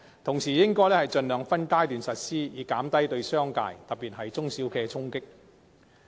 此外，亦應盡量分階段實施，以減低對商界，特別是中小企的衝擊。